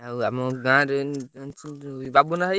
ଆଉ ଆମ ଗାଁରେ ଜାଣିଛ ଯୋଉ ବାବୁନା ଭାଇ?